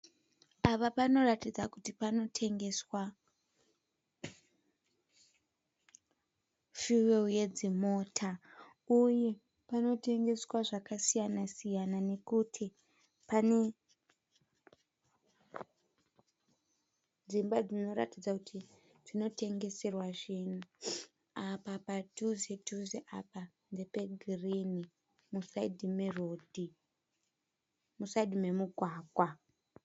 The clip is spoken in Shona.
Apa panoratidza kuti panotengeswa fiyuweri yedzimota uye panotengeswa zvakasiyana siyana nekuti pane dzimba dzinoratidza kuti dzinotengeserwa zvinhu apa padhuze dhuze apa ndepe girinhi musaidhi memugwagwa.